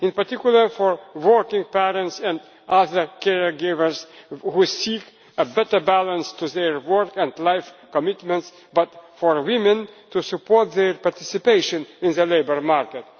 all in particular, for working parents and other caregivers who seek a better balance to their work and life commitments, but also for women, to support their participation in the labour